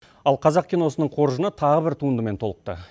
ал қазақ киносының қоржыны тағы бір туындымен толықты